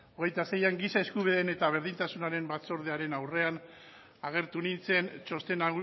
hogeita seian giza eskubideen eta berdintasunaren batzordearen aurrean agertu nintzen txosten